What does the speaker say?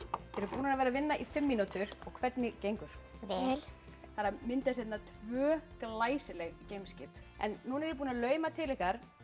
þið eruð búnar að vera að vinna í fimm mínútur hvernig gengur vel það er að myndast hérna tvö glæsileg geimskip nú er ég búin að lauma til ykkar